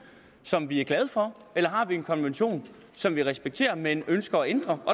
som vi er glade for eller har vi en konvention som vi respekterer men ønsker at ændre